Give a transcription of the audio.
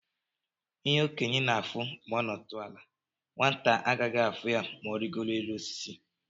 ihe okenye na afụ ma onudu ala, nwata agaghị afu ya ma origoro élú osisi.